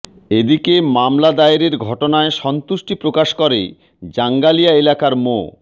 এদিকে মামলা দায়েরের ঘটনায় সন্তুষ্টি প্রকাশ করে জাঙ্গালিয়া এলাকার মো